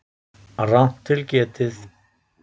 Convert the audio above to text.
Rangt til getið